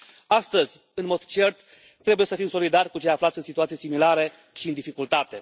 Astăzi, în mod cert, trebuie să fim solidari cu cei aflați în situații similare și în dificultate.